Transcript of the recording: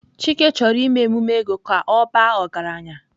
Chike choro ime emume ego ka o baa ọgaranya.